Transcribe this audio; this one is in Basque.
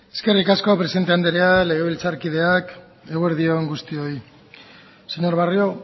eskerrik asko presidente anderea legebiltzarkideak eguerdi on guztioi señor barrio